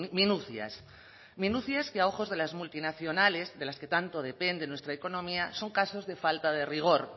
minucias minucias que a ojos de la multinacionales de las que tanto depende nuestra economía son casos de falta de rigor